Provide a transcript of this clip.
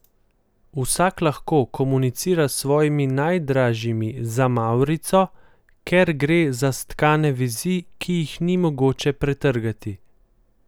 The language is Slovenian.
Vsak lahko komunicira s svojimi najdražjimi za mavrico, ker gre za stkane vezi, ki jih ni mogoče pretrgati.